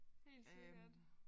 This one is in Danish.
Helt sikkert